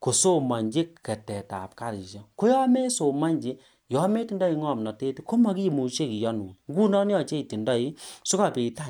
kosomonji Keter tab karishiek ko yon mesomonji yon netindoi ngomnotet KO mogimuche kiyonun ngunon yoche itindoi sigobit